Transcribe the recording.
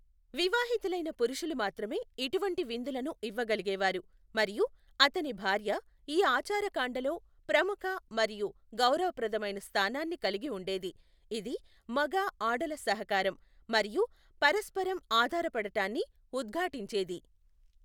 వివాహితులైన పురుషులు మాత్రమే ఇటువంటి విందులను ఇవ్వగలిగేవారు, మరియు అతని భార్య ఈ ఆచారకాండలో ప్రముఖ మరియు గౌరవప్రదమైన స్థానాన్ని కలిగి ఉండేది, ఇది మగ ఆడల సహకారం, మరియు పరస్పరం ఆధారపడటాన్ని ఉద్ఘాటించేది.